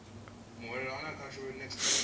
muhwelelwa ane a khou shavha